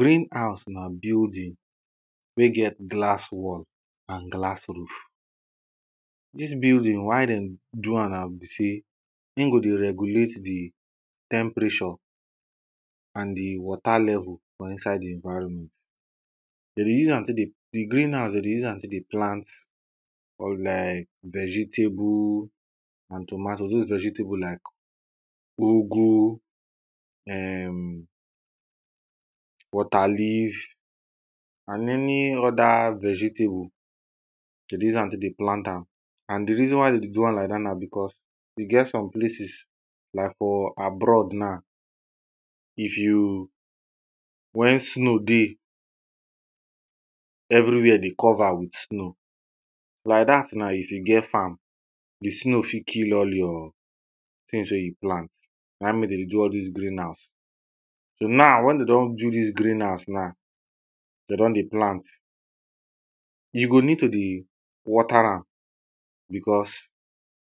Green house na building wey get glass wall and glass roof. Dis building why dey go am na be sey, e go dey regulate di temperature and di water level for inside di environment. De dey use am tek dey, di green house de dey use am take dey plant on like vegetables and tomatoes, dose vegetables like ugu[um]water leaf and many other vegetables de dey use am tek dey plant am and di reason why de dey do am like dat na becos e get some places like for abroad na, if you when snow dey everywhere dey cover with snow like that now if you get farm di snow fit kill all your things wey you plant na mek dere dey do all dis green house. So now when dey don do dis green house na, dey don dey plant you go need to dey water am becos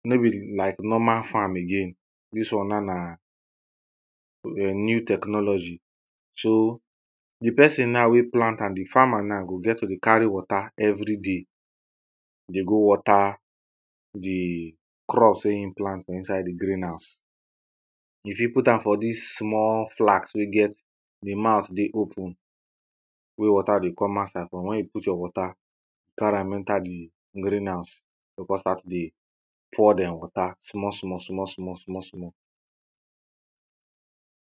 no be like normal farm again. Dis one now na new technology so di person na wey plant am, di farmer na go get to dey carry water everyday dey go water di crops wey e plant for inside green house. E fit put am for dis small flask wey get di mouth dey open wey water dey come outside from when you put your water, carry am enter di green house you go come start to dey pour dem water small small small small small small.